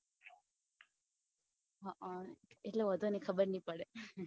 હઅ ઈ તો ઓધો ની ખબર ની પડે